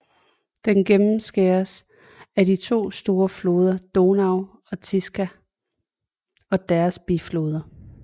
Den gennemskæres af de to store floder Donau og Tisza og deres bifloder